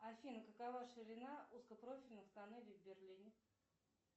афина какова ширина узкопрофильных тоннелей в берлине